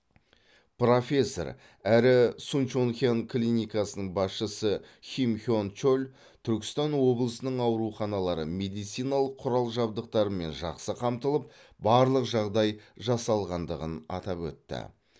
профессор әрі сунчонхян клиникасының басшысы ким хен чоль түркістан облысының ауруханалары медициналық құрал жабдықтармен жақсы қамтылып барлық жағдай жасалғандығын атап өтті